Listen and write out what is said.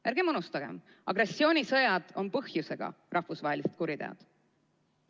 Ärgem unustagem: agressioonisõjad on põhjusega rahvusvahelised kuriteod.